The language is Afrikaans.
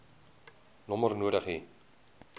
nommer nodig hê